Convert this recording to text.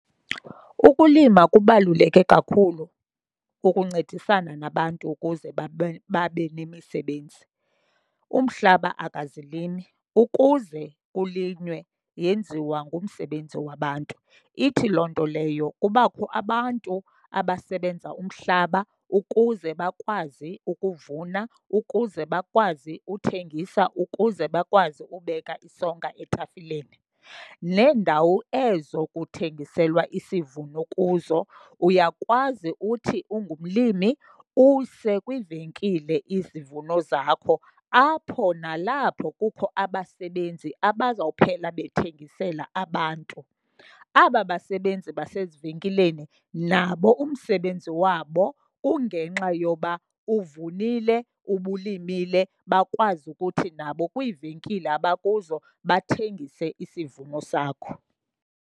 Ukulima kubaluleke kakhulu ukuncedisana nabantu ukuze babe nemisebenzi. Umhlaba akazilimi, ukuze kulinywe yenziwa ngumsebenzi wabantu. Ithi loo nto leyo kubakho abantu abasebenza umhlaba ukuze bakwazi ukuvuna, ukuze bakwazi uthengisa, ukuze bakwazi ubeka isonka etafileni. Neendawo ezo kuthengiselwa isivuno kuzo uyakwazi uthi ungumlimi use kwiivenkile izivuno zakho apho nalapho kukho abasebenzi abazawuphela bethengisela abantu. Aba basebenzi basezivenkileni nabo umsebenzi wabo kungenxa yoba uvunile ubulimile bakwazi ukuthi nabo kwiivenkile abakuzo bathengise isivuno sakho.